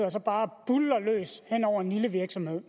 og så bare buldrer løs hen over en lille virksomhed